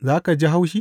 za ka ji haushi?